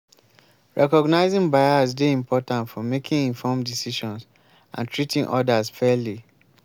recognizing bias dey important for making informed decisions and treating odas fairly.